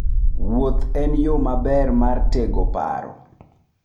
Wuoth en yo maber mar tego paro.